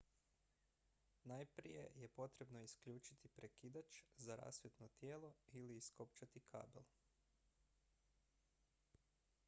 najprije je potrebno isključiti prekidač za rasvjetno tijelo ili iskopčati kabel